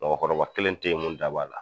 Mɔgɔkɔrɔba kelen te yen mun da b'a la